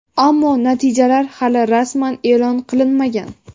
Ammo natijalar hali rasman e’lon qilinmagan.